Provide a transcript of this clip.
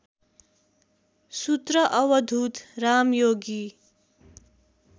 सूत्र अवधूत रामयोगी